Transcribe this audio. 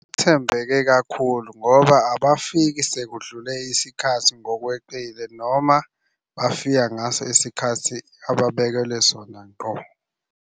Thembeke kakhulu ngoba abafiki sekudlule isikhathi ngokweqile noma bafika ngaso isikhathi ababekelwe sona ngqo.